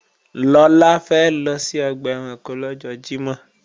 Lọlá fẹ́ lọ sí ọgbà ẹranko lọ́jọ́ Jímọ̀